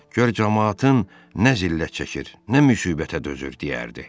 Gör camaatın nə zillət çəkir, nə müsibətə dözür deyərdi.